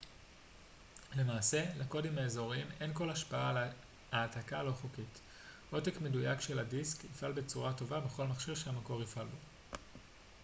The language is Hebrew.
למעשה לקודים האזוריים אין כל השפעה על העתקה לא חוקית עותק מדויק של הדיסק יפעל בצורה טובה בכל מכשיר שהמקור יפעל בו